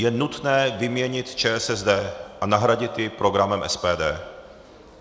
Je nutné vyměnit ČSSD a nahradit ji programem SPD.